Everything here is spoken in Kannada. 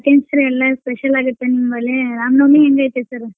ಎಲ್ಲಾ special ಆಗುತ್ತೆ ನಿಮ್ಮಲ್ಲೇ ರಾಮ್ ನವಮಿ ಹೆಂಗೈತೆ sir .